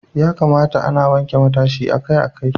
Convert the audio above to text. Ya kamata ana wanke matashin kai akai-akai.